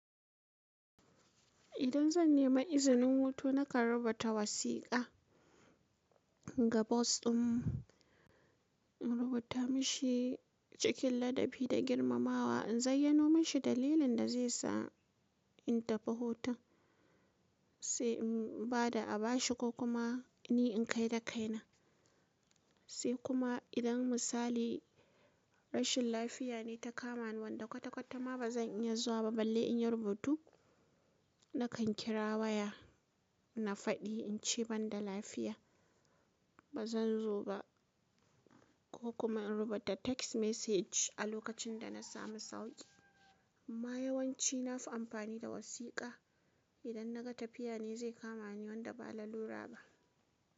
Idan zan nemi izinin hutu nakan rubuta wasiƙa ga boss ɗin, in rubuta mashi cikin ladabi da girmamawa, in zayyano mashi dalilin da zai sa in tafi hutun, sai in ba da abashi ko kuma ni in kai da kaina. Sai kuma idan misali rashin lafiya ne ta kama ni wanda kwata-kwata ma ba zan iya zuwa ba balle in yi rubutu, nakan kira waya na faɗi in ce ban da lafiya ba zan zo ba ko kuma in rubuta text message a lokacin da na sami sauƙi. Amma yawanci na fi amfani da wasiƙa idan naga tafiya ne zai kama ni wanda ba lalura ba.